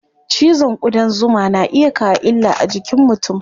Cizon ƙudan zuma na iya kawo illa a jikin mutum.